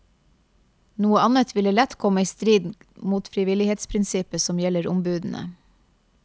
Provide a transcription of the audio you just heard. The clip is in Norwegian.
Noe annet ville lett komme i strid mot frivillighetsprinsippet som gjelder ombudene.